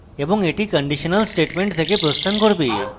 এবং এটি conditional statement থেকে প্রস্থান করবে